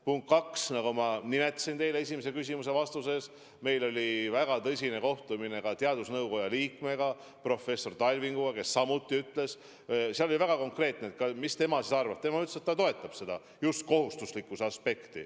Punkt kaks: ma märkisn teile esimese küsimuse vastuses, et meil oli väga tõsine kohtumine teadusnõukoja liikme professor Talvikuga, kes samuti ütles – ja tema arvamus oli väga konkreetne –, et ta toetab maskide kohustuslikkust.